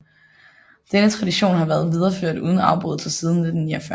Denne tradition har været videreført uden afbrydelse siden 1949